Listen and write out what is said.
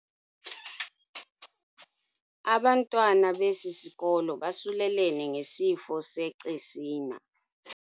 Abantwana besi sikolo basulelene ngesifo secesina.